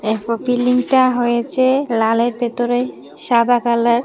পিলিংটা হয়েছে লালের ভেতরে সাদা কালার ।